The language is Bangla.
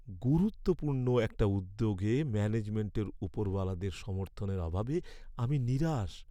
গুরুত্বপূর্ণ একটা উদ্যোগে ম্যানেজমেন্টের ওপরওয়ালাদের সমর্থনের অভাবে আমি নিরাশ।